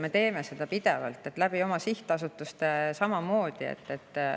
Me teeme seda pidevalt, oma sihtasutuste kaudu samamoodi.